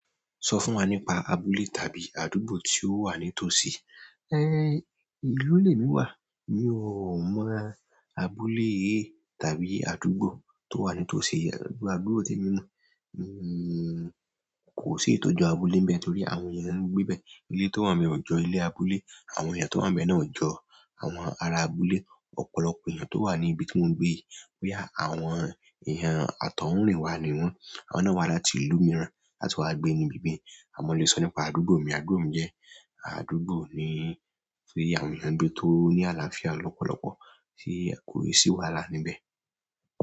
Sọ fún wa nípa abúlé tàbí àdúgbò tí ó wà ní tòsí ìlú lèmi wà mi ò mọ abúlé tàbí àdúgbò tó wà nítòsí àdúgbò témi mọ̀. Kò sì èyí tó jọ abúlé ńbẹ̀ torí àwọn èèyàn ń gbébẹ̀. Ilé tó wà ńbẹ̀ ò jọ ilé abúlé, àwọn èèyàn tó wà ńbẹ̀ náà ò jọ àwọn ará abúlé. Ọ̀pọ̀lọpọ̀ èèyàn tó wà ní ibi tí mò ń gbé, wí àwọn èèyàn àtọ̀húnrìnwá ni wọ́n, àwọn náà wá láti ìlú mìíràn láti wá gbé ní ibi bí ni. A lè sọ nípa àdúgbò mi, àdúgbò mi jẹ́ àdúgbò ni tí àwọn èèyàn ń gbé tó ní àlàáfíà lọ́pọ̀lọ́pọ̀ tí kò sì sí wàhálà níbẹ̀.